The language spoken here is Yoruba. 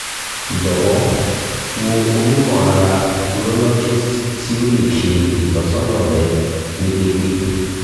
jọwọ wo onimọ-ara urologist ti o le ṣe itọsọna rẹ ni deede